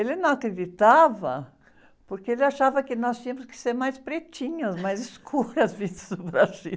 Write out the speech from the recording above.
Ele não acreditava, porque ele achava que nós tínhamos que ser mais pretinhas, mais escuras, vindo do Brasil.